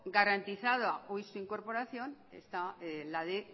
garantizada hoy su incorporación está la de